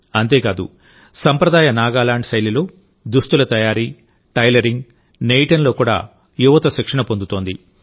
అంతేకాదుసంప్రదాయ నాగాలాండ్ శైలిలో దుస్తుల తయారీ టైలరింగ్ నేయడంలో కూడా యువతశిక్షణ పొందుతోంది